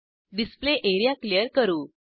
display area clear करू